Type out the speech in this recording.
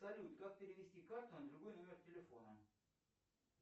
салют как перевести карту на другой номер телефона